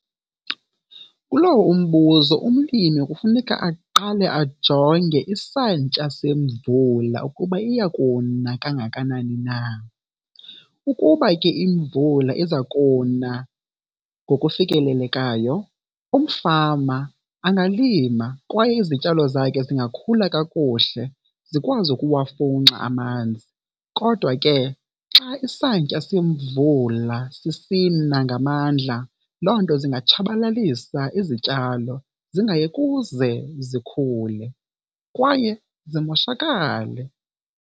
Kulowo umbuzo, umlimi kufuneka aqale ajonge isantya semvula ukuba iya kuna kangakanani na. Ukuba ke imvula iza kuna ngokufikelelekayo umfama angalima kwaye izityalo zakhe zingakhula kakuhle, zikwazi ukuwafunxa amanzi. Kodwa ke xa isantya semvula sisina ngamandla loo nto zingatshabalalisa izityalo zingaye kuze zikhule kwaye zimoshakale.